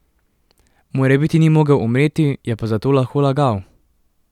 Morebiti ni mogel umreti, je pa zato lahko lagal.